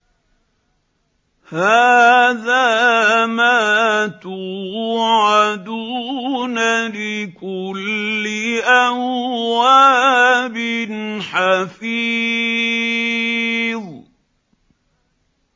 هَٰذَا مَا تُوعَدُونَ لِكُلِّ أَوَّابٍ حَفِيظٍ